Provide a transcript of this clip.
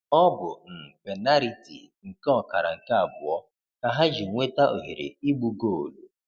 Ọ bụ n’penariti nke ọkara nke abụọ ka ha ji nweta ohere igbu goolu.